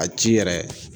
A ci yɛrɛ